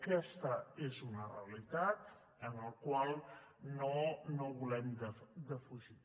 aquesta és una realitat que no volem defugir